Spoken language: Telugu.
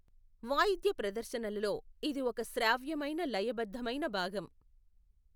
వాయిద్య ప్రదర్శనలలో, ఇది ఒక శ్రావ్యమైన లయ బద్ధమైన భాగం.